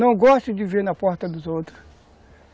Não gosto de ver na porta dos outros.